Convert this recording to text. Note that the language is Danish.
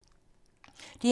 DR2